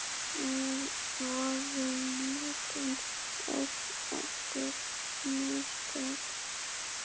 Voru mörkin öll eftir mistök?